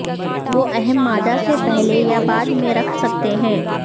وہ اہم مادہ سے پہلے یا بعد میں رکھ سکتے ہیں